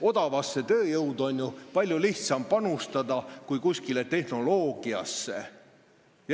Odavasse tööjõudu on ju palju lihtsam panustada kui tehnoloogiasse.